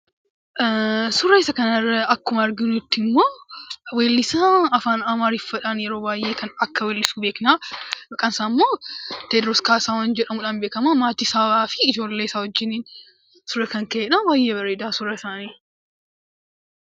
Suura isa kanarra akkuma arginutti immoo weellisaa Afaan Amaariffaadhaan yeroo baay'ee akka weellisu beekna. Maqaan isaa immoo Tewodiroos Kaasahuun jedhamuun beekamaa. Maatii isaa fi ijoollee isaa wajjiniin suuraa kan ka'edha. Baay'ee bareedaa suurri isaanii.